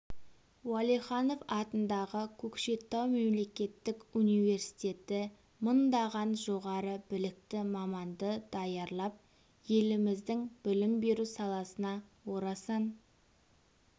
уәлиханов атындағы көкшетау мемлекеттік университеті мыңдаған жоғары білікті маманды даярлап еліміздің білім беру саласына орасан